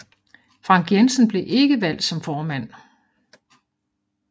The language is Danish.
Frank Jensen blev ikke valgt som formand